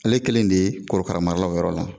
Ale kelen de ye korokaramala o yɔrɔ la.